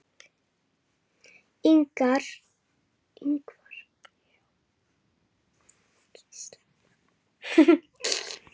Ingvar, hvað er lengi opið í Landbúnaðarháskólanum?